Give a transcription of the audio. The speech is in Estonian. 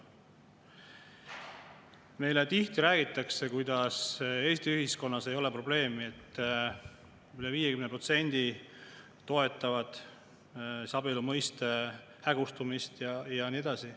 Meile räägitakse tihti, kuidas Eesti ühiskonnas ei ole probleemi, et üle 50% toetavad abielu mõiste hägustumist ja nii edasi.